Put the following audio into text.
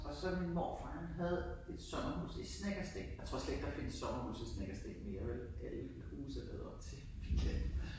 Og så min morfar han havde et sommerhus i Snekkersten. Jeg tror slet ikke der findes sommerhuse i Snekkersten mere vel alle de huse er lavet om til villaer